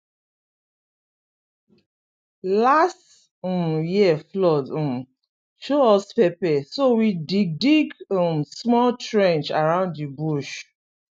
last um year flood um show us pepper so we dig dig um small trench around the bush